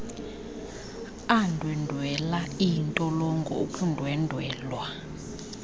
andwendwela iintolongo ukundwendwelwa